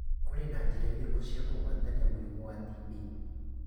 Kũrĩ na njĩra irĩkũ cia kũgwatania mũrimũ wa TB?